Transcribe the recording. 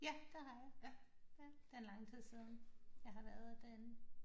Ja det har jeg det er lang tid siden jeg har været derinde